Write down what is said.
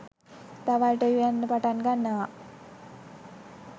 දවල්ට උයන්න පටන්ගන්නව